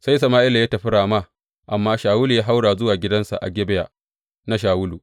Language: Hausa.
Sai Sama’ila ya tafi Rama, amma Shawulu ya haura zuwa gidansa a Gibeya na Shawulu.